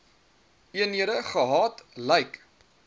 eenhede gehad lyk